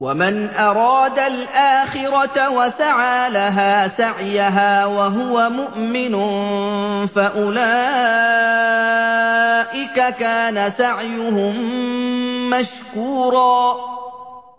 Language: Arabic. وَمَنْ أَرَادَ الْآخِرَةَ وَسَعَىٰ لَهَا سَعْيَهَا وَهُوَ مُؤْمِنٌ فَأُولَٰئِكَ كَانَ سَعْيُهُم مَّشْكُورًا